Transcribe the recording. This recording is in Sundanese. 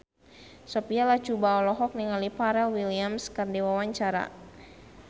Sophia Latjuba olohok ningali Pharrell Williams keur diwawancara